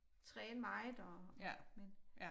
Træne meget og men